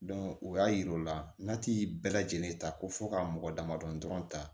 o y'a yira o la n'a ti bɛɛ lajɛlen ta ko fo ka mɔgɔ damadɔ dɔrɔn ta